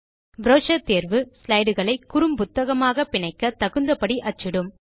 brochure தேர்வு slide களை குறும் புத்தகமாக பிணைக்க தகுந்தபடி அச்சிடும்